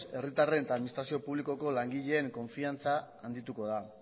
herritarren eta administrazio publikoko langileen konfidantza handituko da